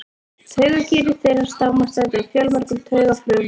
Taugakerfi þeirra samanstendur af fjölmörgum taugafrumum.